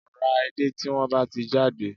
Ra edé tí wọ́n bá ti jáde